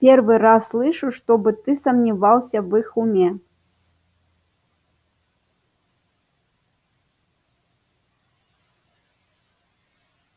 первый раз слышу чтобы ты сомневался в их уме